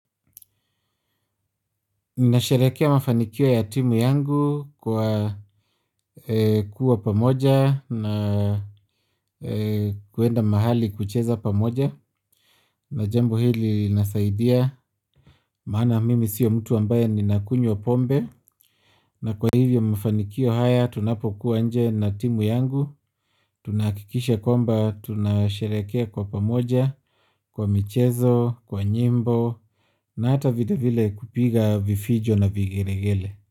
Nina sharekea mafanikio ya timu yangu kwa kuwa pamoja na kwenda mahali kucheza pamoja na jambo hili nasaidia maana mimi siyo mtu ambaye ni nakunywa pombe na kwa hivyo mafanikio haya tunapokuwa nje na timu yangu tunakikisha komba tunasherekea kwa pamoja, kwa michezo, kwa nyimbo na hata video vile kupiga vifijo na vigelegele.